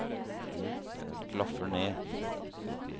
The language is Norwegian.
klaffer ned